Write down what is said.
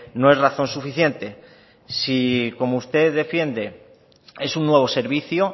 no es razón suficiente si como usted defiende es un nuevo servicio